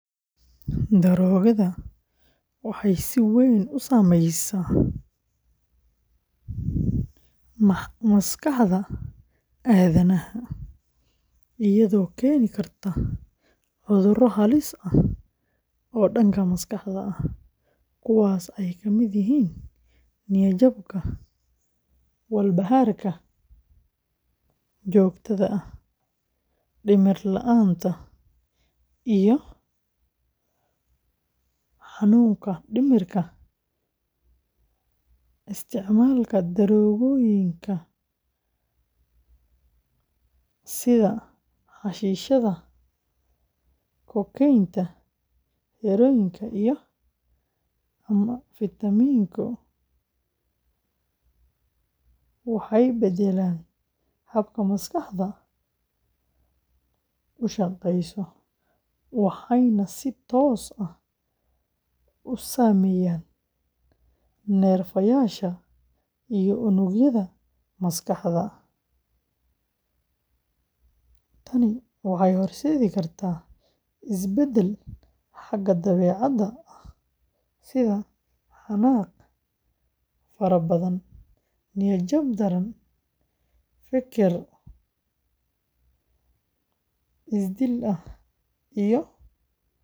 Daroogada waxay si weyn u saameeyaan maskaxda aadanaha, iyadoo keeni karta cuduro halis ah oo dhanka maskaxda ah, kuwaasoo ay ka mid yihiin: niyad-jabka, walbahaarka joogtada ah, dhimir-la'aanta, iyo xanuunka dhimirka. Isticmaalka daroogooyinka sida xashiishadda, kokeynta, heroin-ka, iyo amfetamiin-ku waxay beddelaan habka maskaxdu u shaqeyso, waxayna si toos ah u saameeyaan neerfayaasha iyo unugyada maskaxda. Tani waxay horseedi kartaa isbeddel xagga dabeecadda ah, sida xanaaq fara badan, niyad-jab daran, feker isdil ah